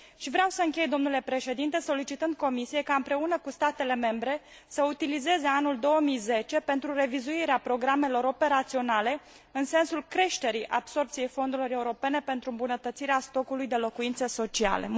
Vreau să închei, domnule Președinte, solicitând Comisiei ca, împreună cu statele membre, să utilizeze anul 2010 pentru revizuirea programelor operaționale în sensul creșterii absorbției fondurilor europene pentru îmbunătățirea stocului de locuințe sociale.